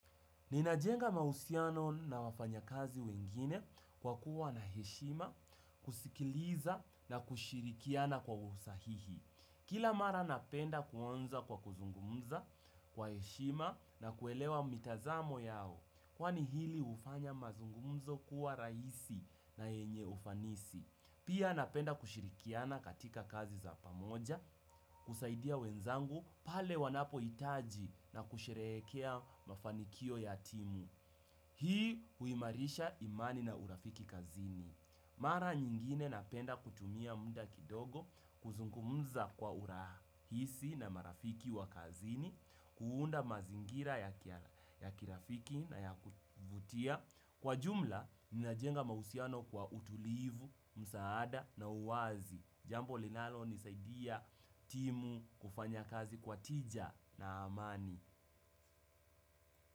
Ninajenga mahusiano na wafanyakazi wengine kwa kuwa na heshima, kusikiliza na kushirikiana kwa usahihi. Kila mara napenda kuanza kwa kuzungumza kwa heshima na kuelewa mitazamo yao, kwani hili hufanya mazungumzo kuwa raisi na yenye ufanisi. Pia napenda kushirikiana katika kazi za pamoja, kusaidia wenzangu pale wanapo itaji na kusherekea mafanikio ya timu. Hii huimarisha imani na urafiki kazini. Mara nyingine napenda kutumia muda kidogo, kuzungumza kwa urahisi na marafiki wa kazini, kuunda mazingira ya kirafiki na ya kuvutia. Kwa jumla, ninajenga mahusiano kwa utulivu, msaada na uwazi. Jambo linalonisaidia timu kufanya kazi kwa tija na amani.